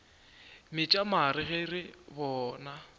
metša mare ge re bona